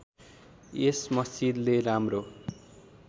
यस मस्जिदले राम्रो